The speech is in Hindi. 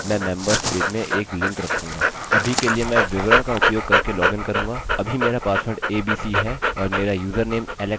अभी के लिए मैं विवरण का उपयोग करके लॉगिन करूँगा अभी मेरा पासवर्ड abc है और मेरा यूज़रनेम alex है